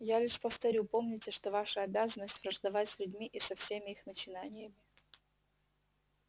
я лишь повторю помните что ваша обязанность враждовать с людьми и со всеми их начинаниями